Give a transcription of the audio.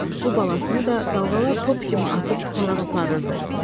Bu balasını da dalğalar top kimi atıb tutaraq aparırdı.